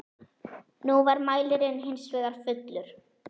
Nú var mælirinn hins vegar fullur.